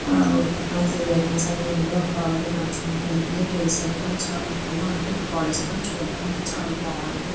ఒక పక్కన three vehicles అని ఉన్నాయి. ఒక ఆవిడా నడుచుకుంటూ వెళ్తుంది. ట్రీస్ అనేవి చాలా ఎక్కువగా ఉంటాయి. కాలేజ్ కూడా చూడనికి చా బాగుంటుంది.